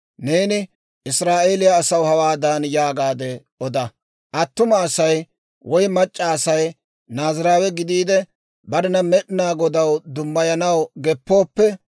«Neeni Israa'eeliyaa asaw hawaadan yaagaade oda; ‹Attuma Asay woy mac'c'a Asay Naaziraawe gidiide, barena Med'inaa Godaw dummayanaw geppooppe,